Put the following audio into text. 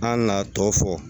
An nana a tɔ fɔ